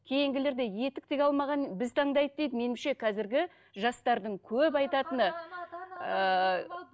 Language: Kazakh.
кейінгілерде етік тіге алмаған біз таңдайды дейді меніңше қазіргі жастардың көп айтатыны ыыы